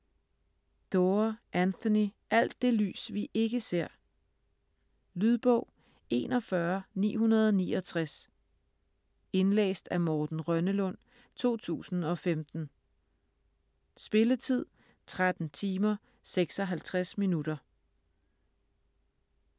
Doerr, Anthony: Alt det lys vi ikke ser Lydbog 41969 Indlæst af Morten Rønnelund, 2015. Spilletid: 13 timer, 56 minutter.